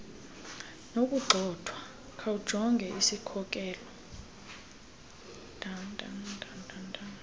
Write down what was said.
nokugxothwa khawujonge isikhokelo